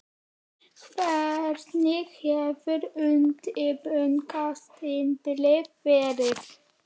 Hvernig hefur undirbúningstímabilið verið?